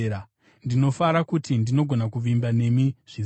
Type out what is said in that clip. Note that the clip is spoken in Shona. Ndinofara kuti ndinogona kuvimba nemi zvizere.